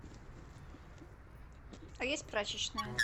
а есть прачечная